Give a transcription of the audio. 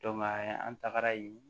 an tagara yen